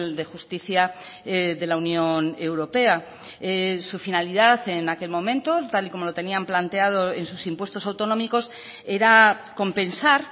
de justicia de la unión europea su finalidad en aquel momento tal y como lo tenían planteado en sus impuestos autonómicos era compensar